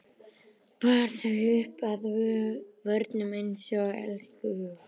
Bar þau upp að vörunum einsog elskhuga.